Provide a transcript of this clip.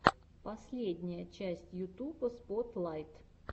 последняя часть ютуба спотлайт